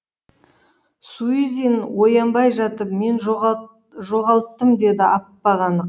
суизин оянбай жатып мен жоғалттым деді ап анық